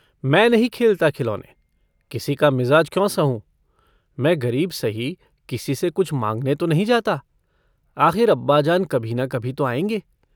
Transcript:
मै नहीं खेलता खिलौने। किसी का मिज़ाज क्यों सहूँ? मै गरीब सही, किसी से कुछ माँगने तो नहीं जाता। आखिर अब्बाजान कभी न कभी तो आएंगे।